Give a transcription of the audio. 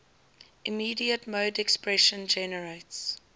immediate mode expression generates